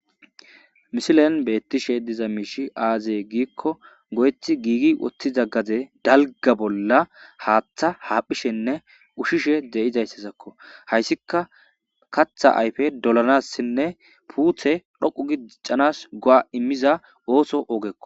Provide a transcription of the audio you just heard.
Missilenn bettishshe diza mishshi azee gikko loyiththi gigi uttida gade daliga bolla haththa haphphishshenne ushshishshe dizayissatakko .hayiisikka kaththa ayife dolannassine pute dhoqqu gii doccanassi go'a immannass oththe ogekko.